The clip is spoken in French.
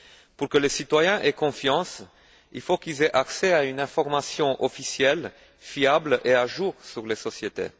Pour que les citoyens aient confiance, il faut qu'ils aient accès à une information officielle fiable et à jour sur les sociétés.